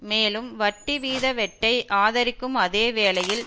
மேலும் வட்டி வீத வெட்டை ஆதரிக்கும் அதே வேளையில்